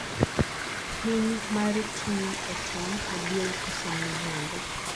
pim mar tuwi otom, adier kose miriambo